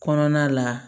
Kɔnɔna la